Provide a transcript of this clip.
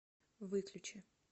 выключи